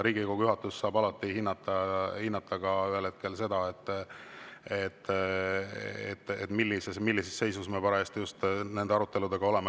Riigikogu juhatus saab alati ühel hetkel hinnata ka seda, millises seisus me parajasti nende aruteludega oleme.